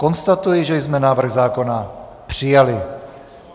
Konstatuji, že jsme návrh zákona přijali.